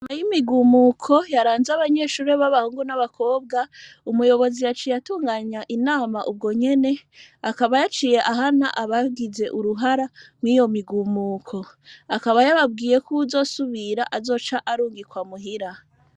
Nyuma y'imigumuko yaranze abanyeshuri baba bahungu n'abakobwa umuyobozi yaciye atunganya inama ubwonyene akaba yaciye ahana bagize mwiyo migumuko akaba yababwiye yuko uwuzosubir azoca arungikwa muhira.